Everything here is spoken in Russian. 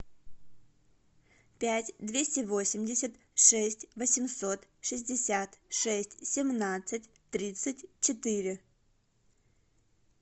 пять двести восемьдесят шесть восемьсот шестьдесят шесть семнадцать тридцать четыре